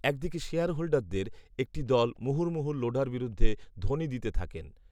এক দিকে শেয়ারহোল্ডারদের একটি দল মুহুর্মুহু লোঢার বিরুদ্ধে ধ্বনি দিতে থাকেন